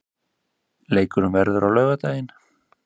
Leikurinn verður á laugardaginn.